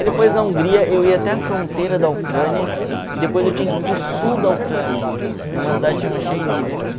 Aí depois da Hungria eu ia até a fronteira da Ucrânia e depois eu tinha que ir para o sul da Ucrânia, numa cidade chamada Chernivtsi.